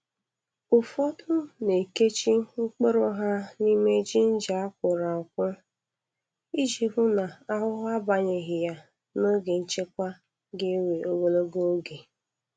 Ufodu na-ekechi mkpụrụ ha nime ginger a kwọrọ akwọ, iji hụ na ahuhu abanyeghị ya n'oge nchekwa ga-ewe ogologo oge.